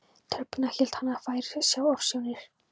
tröppurnar hélt hann að hann væri að sjá ofsjónir.